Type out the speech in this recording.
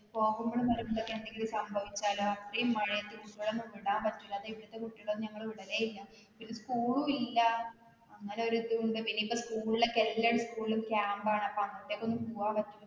പോകുമ്പോഴും വരുമ്പോഴും എന്തേലും സംഭവിച്ചല്ലോ ഇത്രെയും മഴയത്തു കുട്ടികളെ ഒന്നും വിടാൻ പറ്റുല്ല. അതുകൊണ്ട് ഇവുടുത്തെ കുട്ടികളെയൊന്നും ഞങ്ങള് വിടല്ലേയില്ല. school ഉം മില്ല, അങ്ങനൊരു ഇതുകൊണ്ട് പിന്നെ ഇപ്പോ school ല് ഒക്കെ എല്ലാ school ലും camp ണ്.